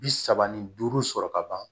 Bi saba ni duuru sɔrɔ kaban